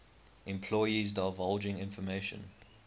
employees divulging information